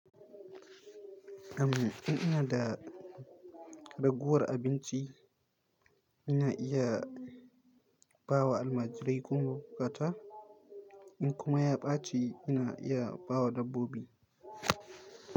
Am, in ina da ragowar abinci, ina iya bawa almajirai ko mai bukata. In kuma ya ɓaci, ina iya bawa dabbobi.